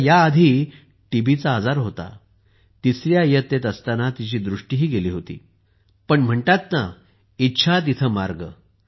तिला याआधी टीबीचा आजार होता आणि तिसऱ्या इयत्तेत असताना तिची दृष्टीही गेली होती पण म्हणतात ना इच्छा तिथे मार्ग